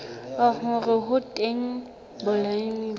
hore ho teng balemi ba